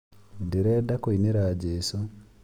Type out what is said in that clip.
Ndĩrenda kũinĩra jesũ